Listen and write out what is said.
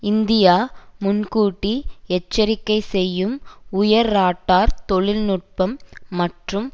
India முன்கூட்டி எச்சரிக்கை செய்யும் உயர் ராடார் தொழில் நுட்பம் மற்றும்